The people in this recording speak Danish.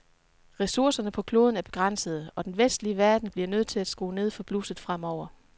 Ressourcerne på kloden er begrænsede, og den vestlige verden bliver nødt til at skrue ned for blusset fremover.